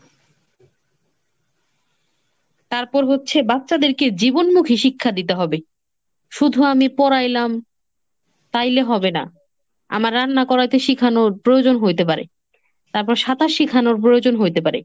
তারপর হচ্ছে বাচ্চাদেরকে জীবনমুখী শিক্ষা দিতে হবে। শুধু আমি পড়াইলাম তাইলে হবে না। আমার রান্না করাতে শিখানোর প্রয়োজন হইতে পারে। তারপর সাঁতার শিখানোর প্রয়োজন হইতে পারে